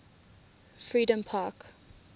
freedompark